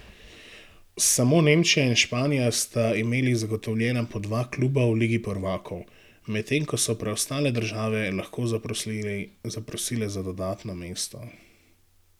Samo Nemčija in Španija sta imeli zagotovljena po dva kluba v Ligi prvakov, medtem ko so preostale države lahko zaprosile za dodatno mesto.